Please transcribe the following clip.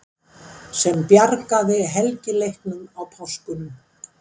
SEM BJARGAÐI HELGILEIKNUM Á PÁSKUNUM.